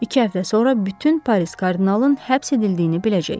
İki həftə sonra bütün Paris kardinalın həbs edildiyini biləcək.